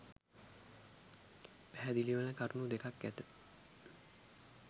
පැහැදිලිවන කරුණු දෙකක් ඇත